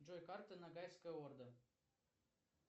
джой карта ногайская орда